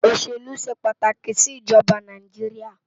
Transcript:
Oṣélú ṣé pátáki si Ijòbá Náijiriá